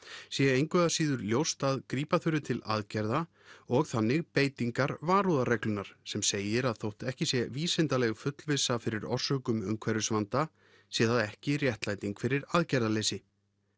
sé engu að síður ljóst að grípa þurfi til aðgerða og þannig beitingar varúðarreglunnar sem segir að þótt ekki sé vísindaleg fullvissa fyrir orsökum umhverfisvanda sé það ekki réttlæting fyrir aðgerðaleysi